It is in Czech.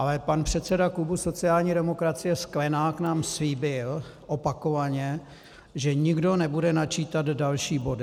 Ale pan předseda klubu sociální demokracie Sklenák nám slíbil opakovaně, že nikdo nebude načítat další body.